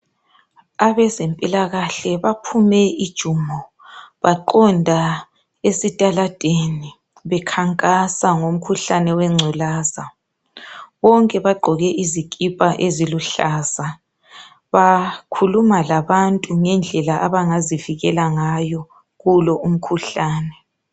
Abezempilakahle baphume ijumo baqonda esitaladeni bekhankasa ngomkhuhlane wengculaza bonke bagqoke izikipa eziluhlaza. Bakhuluma labantu ngendlela abangazivikela ngayo kulo umkhuhlane.